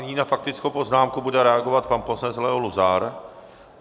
Nyní na faktickou poznámku bude reagovat pan poslanec Leo Luzar.